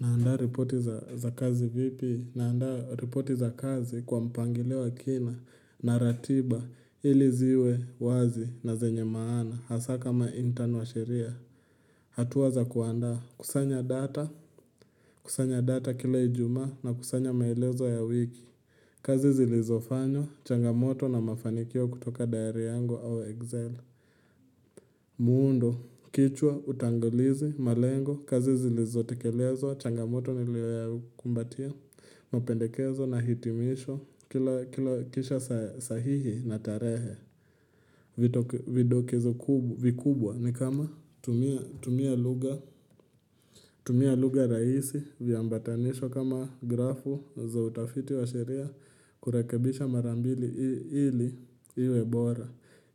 Na andaa ripoti za za kazi vipi? Na andaa ripoti za kazi kwa mpangilo ya kina na ratiba ili ziwe wazi na zenye maana hasa kama intern wa sheria hatua za kuanda kusanya data kusanya data kila ijumaa na kusanya maelezo ya wiki kazi zilizofanywa changamoto na mafanikio kutoka diary yangu au excel muundo, kichwa, utangilizi, malengo, kazi zilizo tekelezwa, changamoto nilioya kumbatia, mapendekezo na hitimisho, kila kila kisha sa sahihi na tarehe Vidokezo ku vikubwa ni kama tumia tumia lugha, tumia lugha rahisi, viambatanisho kama grafu za utafiti wa sheria, kurakebisha marambili ili iwe bora